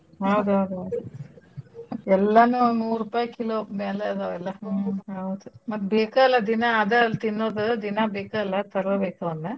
ಹೌದ್ ಹೌದ್ ಹೌದ್ ಎಲ್ಲನೂ ನೂರುಪಾಯ್ kilo ಮ್ಯಾಲೆ ಅದವ್ ಎಲ್ಲಾ ಹೌದ್. ಮತ್ ಬೇಕ ಅಲ್ಲ ದಿನಾ ಅದ ಅಲ್ ತಿನ್ನೋದು ದಿನಾ ಬೇಕಾ ಅಲ್ಲ ತರಬೇಕ ಅವನ್ನ.